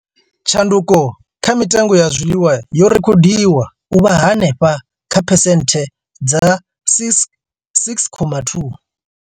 Tshanduko kha mitengo ya zwiḽiwa yo rekhodiwa u vha henefha kha phesenthe dza 6.2.